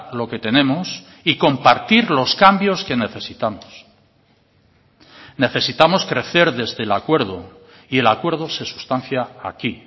lo que tenemos y compartir los cambios que necesitamos necesitamos crecer desde el acuerdo y el acuerdo se sustancia aquí